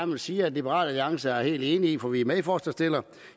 vil sige at liberal alliance er helt enige i for vi er medforslagsstillere